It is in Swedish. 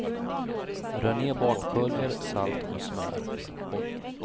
Rör ner bakpulver, salt och smör.